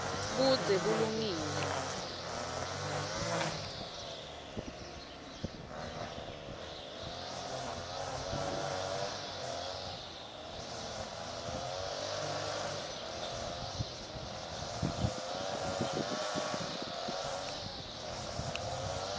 budze bulungile